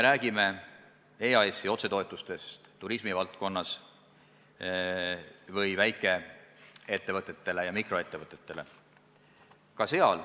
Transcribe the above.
Räägime EAS-i otsetoetustest turismivaldkonnas ja toetustest väikeettevõtetele ja mikroettevõtetele.